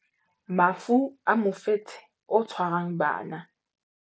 Mafu a mofetshe o tshwarang bana